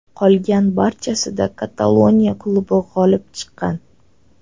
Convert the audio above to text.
Qolgan barchasida Kataloniya klubi g‘olib chiqqan.